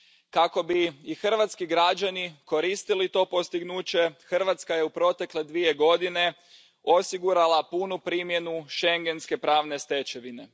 Kako bi i hrvatski građani koristili to postignuće, Hrvatska je u protekle dvije godine osigurala punu primjenu schengenske pravne stečevine.